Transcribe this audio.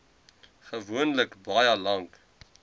gewoonlik baie lank